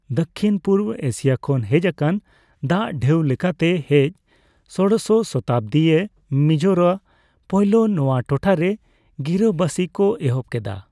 ᱫᱚᱠᱷᱤᱱᱼᱯᱩᱵ Asia ᱠᱷᱚᱱ ᱦᱮᱡᱟᱠᱟᱱ ᱫᱟᱜ ᱰᱷᱮᱩ ᱞᱮᱠᱟᱮ ᱦᱮᱡ ᱥᱚᱲᱳᱥᱚ ᱥᱚᱛᱟᱵᱚᱫᱤ ᱮ ᱢᱤᱡᱳᱨᱟ ᱯᱳᱭᱞᱳ ᱱᱚᱣᱟ ᱴᱚᱴᱷᱟ ᱨᱮ ᱜᱤᱨᱟᱹᱵᱟᱥᱤᱠ ᱠᱚ ᱮᱦᱚᱵ ᱠᱮᱫᱟ ᱾